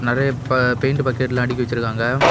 நெறைய பா பெயிண்ட் பக்கெட்ல்லா அடுக்கி வச்சிருக்காங்க.